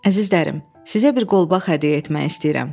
Əzizlərim, sizə bir qolbaq hədiyyə etmək istəyirəm.